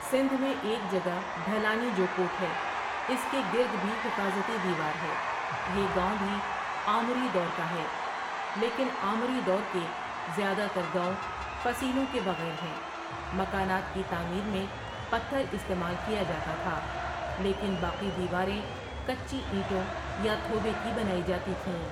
سندھ میں ایک جگہ ڈھلانی جو کوٹ ہے اس کے گرد بھی حفاظتی دیوار ہے یہ گاؤں بھی آمری دور کا ہے لیکن آمری دور کے زیادہ تر گاؤں فصیلوں کے بغیر ہیں مکانات کی تعمیر میں پتھر استعمال کیا جاتا تھا لیکن باقی دیواریں کچی اینٹوں یا تھوبے کی بنائی جاتی تھیں ۔